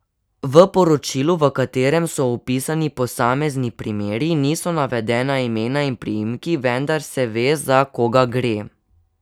V poročilu, v katerem so opisani posamezni primeri, niso navedena imena in priimki, vendar se ve, za koga gre.